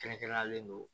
Kɛrɛnkɛrɛnlen do